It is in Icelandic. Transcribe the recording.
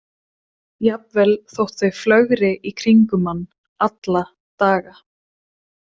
Jafnvel þótt þau flögri í kringum mann alla daga.